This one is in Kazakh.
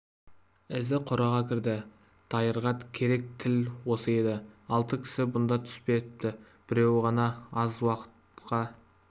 өзі қораға кірді дайырға керек тіл осы еді алты кісі бұнда түспепті біреуі ғана аз уақытқа